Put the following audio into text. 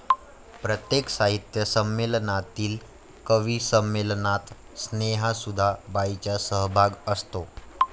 प्रत्येक साहित्य संमेलनातील कविसंमेलनात स्नेहसुधा बाईंचा सहभाग असतो